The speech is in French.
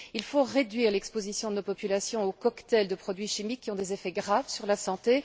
Il faut réduire l'exposition de nos populations aux cocktails de produits chimiques qui ont des effets graves sur la santé.